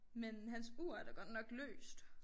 Men hans ur er da godt nok løst